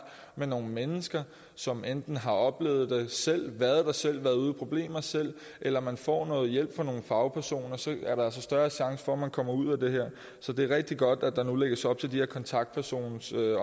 med nogle mennesker som enten har oplevet det selv været der selv været ude i problemer selv eller man får noget hjælp fra nogle fagpersoner så er der altså større chance for at man kommer ud af det her så det er rigtig godt at der nu lægges op til de her kontaktpersons